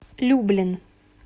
люблин